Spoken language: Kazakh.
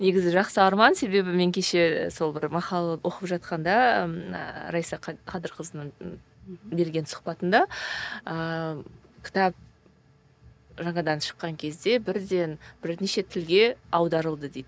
негізі жақсы арман себебі кеше мен сол бір мақала оқып жатқанда ммм раиса қадырқызының берген сұхбатында ыыы кітап жаңадан шыққан кезде бірден бірнеше тілге аударылды дейді